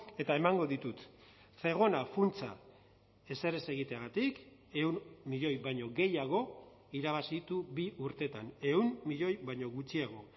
eta emango ditut zegona funtsa ezer ez egiteagatik ehun milioi baino gehiago irabazi ditu bi urteetan ehun milioi baino gutxiago